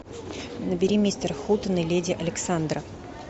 набери мистер хутен и леди александра